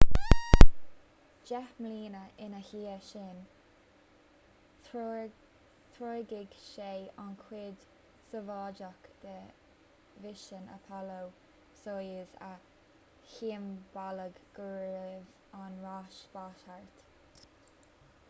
deich mbliana ina dhiaidh sin threoraigh sé an chuid sóivéadach de mhisean apollo-soyuz a shiombalaigh go raibh an ráis spáis thart